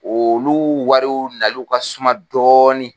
Olu wariw naliw ka suma dɔɔni.